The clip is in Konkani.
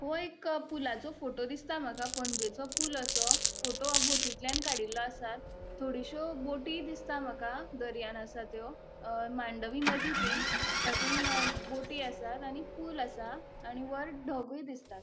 हो एक पुलाचो फोटो दिसता मका पणजेचो पुल असो फोटो ओ बोटिनतल्यान काड़ील्लो आसा थोडेशयों बोटी दिसता माका दर्यान आसा त्यो अ मांडवी नदी ति तातुन बोटी आसा आणि पुल आसा आणि वर ढग़ूय दिसतात.